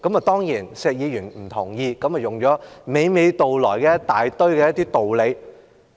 當然，石議員不同意這項要求，便娓娓道來一大堆道理。